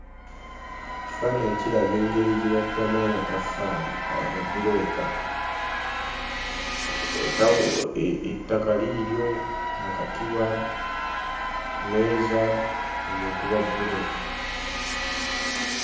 Ekifaananyi kiraga engeri gye bakubamu amataffaali amabulooka. Otabu... ettaka liiryo, akatiba, mmeeza, ng'okuba bbulooka.